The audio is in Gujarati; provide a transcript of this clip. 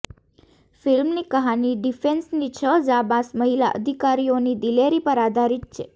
ફિલ્મની કહાની ડિફેન્સની છ જાંબાઝ મહિલા અધિકારીઓની દિલેરી પર આધારિત છે